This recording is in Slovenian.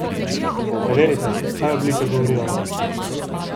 Preverite, kaj oblika govori o vas.